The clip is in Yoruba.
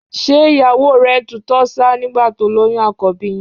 Ṣé ìyàwó rẹ ń tutọ́ ṣáá nígbà tó lóyún àkọ́bí yín?